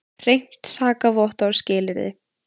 Hreint sakavottorð skilyrði.